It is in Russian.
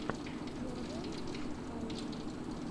первое музыкальное